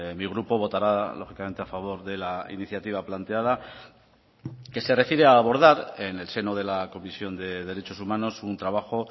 mi grupo votará lógicamente a favor de la iniciativa planteada que se refiere a abordar en el seno de la comisión de derechos humanos un trabajo